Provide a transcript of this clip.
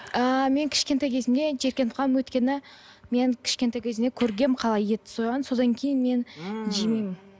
ы мен кішкентай кезімде жиіркеніп қалдым өйткені мен кішкентай кезімде көргенмін қалай етті сойғанын содан кейін мен жемеймін